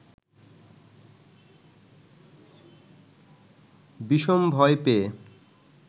বিষম ভয় পেয়ে